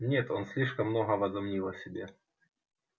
нет он слишком много возомнил о себе